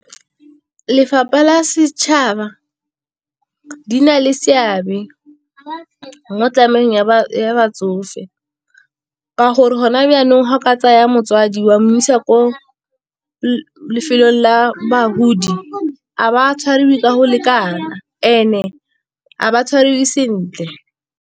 Lefapha la setšhaba di na le seabe mo ya batsofe, ka gore gona byanong ga o ka tsaya motsadi wa mo isa ko lefelong la bagodi a ba tshwariwe ka go lekana and-e a ba tshwariwe sentle.